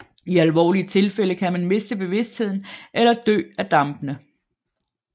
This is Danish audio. I alvorlige tilfælde kan man miste bevidstheden eller dø af dampene